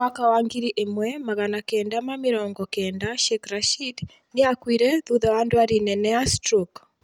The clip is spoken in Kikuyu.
Mwaka wa ngiri ĩmwe magana kenda ma mĩrongo kenda Sheikh Rashid, nĩakũire thutha wa ndwari nene ya stroke